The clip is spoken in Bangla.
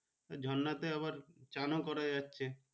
ঝর্ণা তে আবার চান ও করা যাচ্ছে।